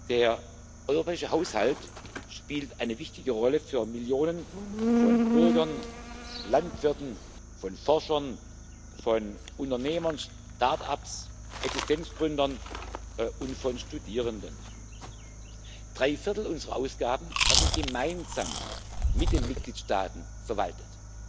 Der europäische Haushalt spielt eine wichtige Rolle für Millionen von Bürgern, Landwirten, Forschern, Unternehmern, Start ups, Existenzgründern und Studierenden. Drei Viertel unserer Ausgaben werden gemeinsam mit den Mitgliedstaaten verwaltet,